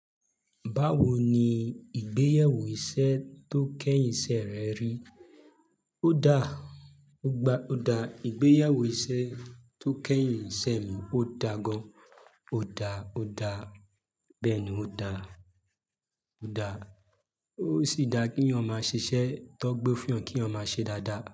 Báwo ni ìgbéyẹwó iṣẹ́ tó kẹ́yìn iṣẹ́ rẹ rí? Ó da, ó gba, ó da, ìgbéyẹwo iṣẹ́ tó kẹ́yìn iṣẹ́ mi ó da gan. Ó da, ó da, bẹ́ẹ̀ ni, ó da, ó da. Ó sì dá kí yan máa ṣiṣẹ́, Tọ́ gbé fún yan kí yan máa ṣe dáadáa.